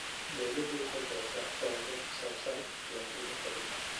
Dawladdu waxay bixisaa tababar ku saabsan diiwaangelinta dhulka.